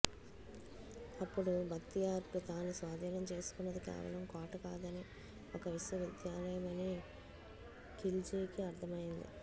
అప్పుడు భక్తియార్కు తాను స్వాధీనం చేసుకున్నది కేవలం కోట కాదని ఒక విశ్వ విద్యాలయం అని ఖిల్జీకి అర్థమైంది